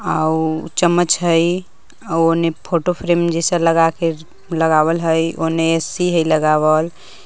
आउ चम्मच हइ आव ओने फोटोफ्रेम जैसा लगा के लगावल हइ ओने ए सी हइ लगावल।